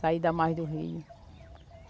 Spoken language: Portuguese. Saída a mais do Rio.